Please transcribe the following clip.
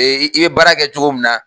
Ee i bɛ baara kɛ cogo min na.